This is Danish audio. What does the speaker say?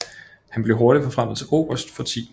Han blev hurtigt forfremmet til oberst for 10